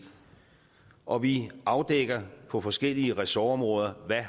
og vi afdækker på forskellige ressortområder hvad